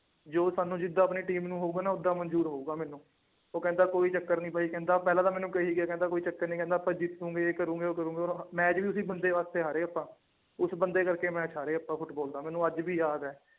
ਜੋ ਸਾਨੂੰ ਜਿੱਦਾਂ ਆਪਣੀ team ਨੂੰ ਹੋਊਗਾ ਨਾ ਓਦਾਂ ਮਨਜ਼ੂਰ ਹੋਊਗਾ ਮੈਨੂੰ ਉਹ ਕਹਿੰਦਾ ਕੋਈ ਚੱਕਰ ਨੀ ਬਾਈ ਕਹਿੰਦਾ ਪਹਿਲਾਂ ਤਾਂ ਮੈਨੂੰ ਕਹੀ ਗਿਆ ਕਹਿੰਦਾ ਕੋਈ ਚੱਕਰ ਨੀ ਕਹਿੰਦਾ ਆਪਾਂ ਜੇ ਤੂੰ ਇਹ ਕਰੂੰਗੇ ਉਹ ਕਰੂੰਗਾ match ਵੀ ਉਸ ਬੰਦੇ ਵਾਸਤੇ ਹਾਰੇ ਆਪਾਂ ਉਸ ਬੰਦੇ ਕਰਕੇ match ਹਾਰੇ ਆਪਾਂ ਫੁਟਬਾਲ ਦਾ ਮੈਨੂੰ ਅੱਜ ਵੀ ਯਾਦ ਹੈ।